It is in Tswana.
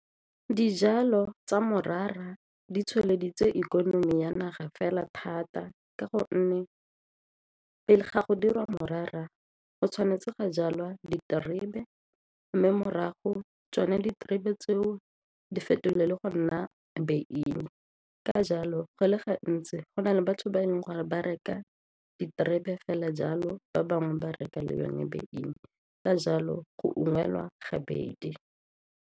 Dijalo tsa morara di tsweleditse ikonomi ya naga fela thata ka gonne ga go dirwa morara go tshwanetse ga jalwa diterebe mme morago tsone diterebe tseo di fetolelwe le go nna beine, ka jalo go le gantsi go na le batho ba e leng gore ba reka diterebe fela jalo ba bangwe ba reka le yone beine, ka jalo go ungwelwa gabedi.